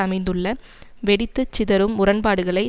அமைந்துள்ள வெடித்து சிதறும் முரண்பாடுகளை